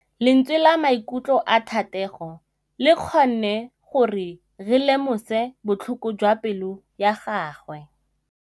Lentswe la maikutlo a Thategô le kgonne gore re lemosa botlhoko jwa pelô ya gagwe.